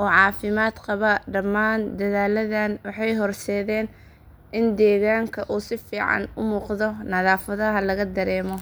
oo caafimaad qaba. Dhammaan dadaalladan waxay horseedeen in deegaanka uu si fiican u muuqdo nadaafadna laga dareemo.